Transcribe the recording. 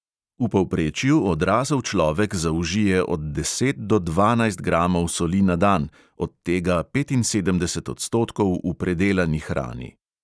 V povprečju odrasel človek zaužije od deset do dvanajst gramov soli na dan, od tega petinsedemdeset odstotkov v predelani hrani.